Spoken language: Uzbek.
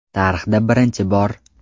Tarixda birinchi bor!